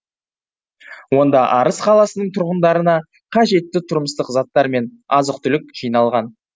онда арыс қаласының тұрғындарына қажетті тұрмыстық заттар мен азық түлік жиналған